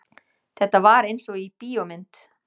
Þetta var einsog í bíómynd.